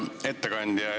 Hea ettekandja!